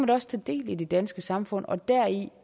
da også tage del i det danske samfund og deri